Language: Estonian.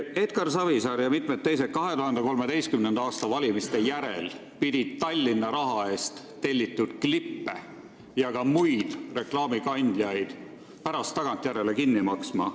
Edgar Savisaar ja mitmed teised pidid 2013. aasta valimiste järel Tallinna raha eest tellitud klippe ja ka muid reklaame pärast tagantjärele kinni maksma.